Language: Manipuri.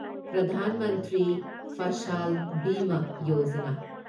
ꯄ꯭ꯔꯙꯥꯟ ꯃꯟꯇ꯭ꯔꯤ ꯐꯁꯥꯜ ꯕꯤꯃ ꯌꯣꯖꯥꯅꯥ